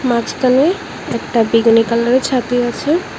মাঝখানে একটা বেগুনি কালারের ছাতি আছে।